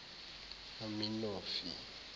aminofi